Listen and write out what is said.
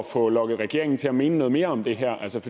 få lokket regeringen til at mene noget mere om det her